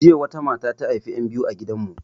Jiya wata mata ta haifi 'yan biyu a gidan mu